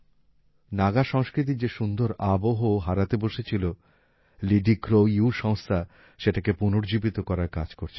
নাগা সংস্কৃতির যে সুন্দর আবহ হারাতে বসেছিল লিডি ক্রো ইউ সংস্থা সেটাকে পুনর্জীবিত করার কাজ করছে